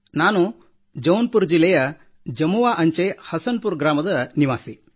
ನಾನು ಜೌನ್ಪುುರ ಜಿಲ್ಲೆಯ ಅಂಚೆ ಜಮುವಾ ಹಸನ್ ಪುರ ಗ್ರಾಮದ ನಿವಾಸಿಯಾಗಿದ್ದೇನೆ